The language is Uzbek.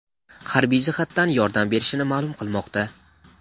harbiy jihatdan yordam bershini ma’lum qilmoqda.